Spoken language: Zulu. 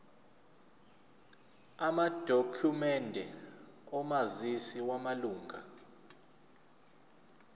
amadokhumende omazisi wamalunga